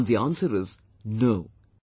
And, the answer is 'No'